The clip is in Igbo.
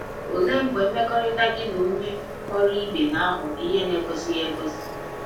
Olee mgbe mmekọrịta gị na na onye ọrụ ibe na-aghọ ihe na-ekwesịghị ekwesị?